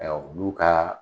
olu kaa